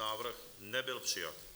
Návrh nebyl přijat.